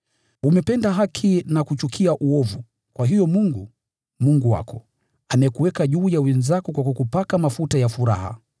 Umependa haki na kuchukia uovu; kwa hiyo Mungu, Mungu wako, amekuweka juu ya wenzako kwa kukupaka mafuta ya furaha.”